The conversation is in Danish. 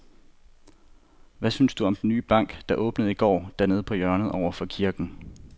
Hvad synes du om den nye bank, der åbnede i går dernede på hjørnet over for kirken?